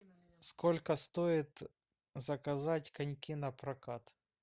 сколько стоит заказать коньки напрокат